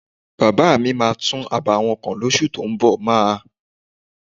Bàbá mi máa tún abà wọn kọ́ lóṣù tó ún bọ̀.máà ń